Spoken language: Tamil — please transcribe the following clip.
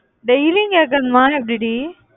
daily யும் கேட்கணுமா எப்படி டி?